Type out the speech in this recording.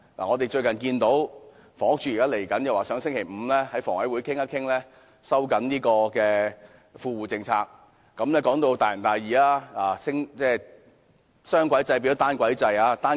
我們最近聽到房屋署希望本星期五在香港房屋委員會上討論收緊公屋富戶政策，說到大仁大義，雙軌制變成單軌制。